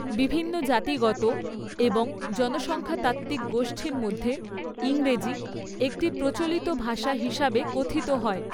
বিভিন্ন জাতিগত এবং জনসংখ্যাতাত্ত্বিক গোষ্ঠীর মধ্যে ইংরেজি একটি প্রচলিত ভাষা হিসাবে কথিত হয়।